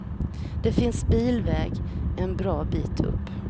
Det finns bilväg en bra bit upp.